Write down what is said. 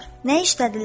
Nə işləyirdilər?